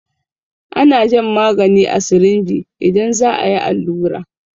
Ana jan magani a sirinji idan za a yi allura.